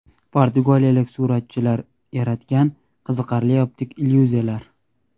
Portugaliyalik suratchi yaratgan qiziqarli optik illyuziyalar .